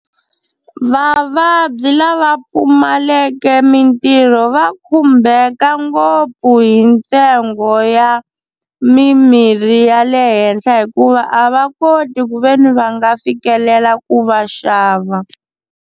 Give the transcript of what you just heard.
Vavabyi lava pfumaleke mintirho va khumbeka ngopfu hi ntsengo ya mimirhi ya le henhla hikuva a va koti ku veni va nga fikelela ku va xava.